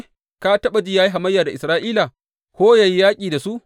Ka taɓa ji ya yi hamayya da Isra’ila ko yă yi yaƙi da su?